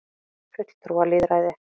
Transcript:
fulltrúalýðræði